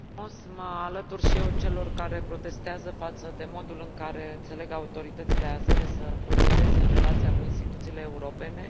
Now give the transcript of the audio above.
Vreau să mă alătur și eu celor care protestează față de modul în care înțeleg autoritățile azere să procedeze în relația cu instituțiile europene.